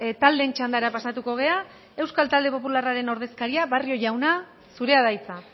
taldeen txandara pasatuko gara euskal talde popularraren ordezkaria barrio jauna zurea da hitza